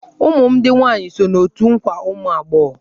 Ụmụ m ndị nwaanyị so n'otù nkwa ụmụ agbọghọ.